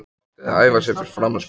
Átti að æfa sig fyrir framan spegil.